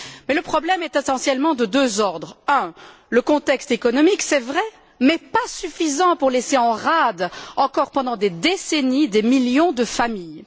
Mais le problème est essentiellement de deux ordres un, le contexte économique, c'est vrai, qui n'est pourtant pas suffisant pour laisser en rade encore pendant des décennies des millions de familles